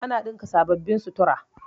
Na ɗinka sababbin sutura